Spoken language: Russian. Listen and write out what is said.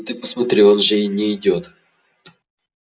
ну ты посмотри он же не идёт